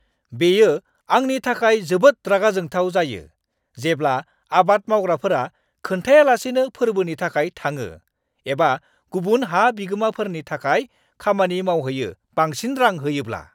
बेयो आंनि थाखाय जोबोद रागा जोंथाव जायो जेब्ला आबाद मावग्राफोरा खोन्थायालासेनो फोर्बोनि थाखाय थाङो एबा गुबुन हा बिगोमाफोरनि थाखाय खामानि मावहैयो बांसिन रां होयोब्ला!